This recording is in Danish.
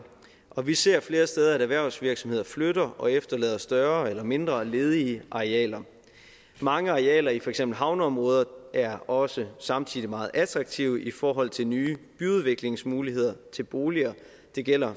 og vi ser flere steder at erhvervsvirksomheder flytter og efterlader større eller mindre ledige arealer mange arealer i for eksempel havneområder er også samtidig meget attraktive i forhold til nye byudviklingsmuligheder til boliger det gælder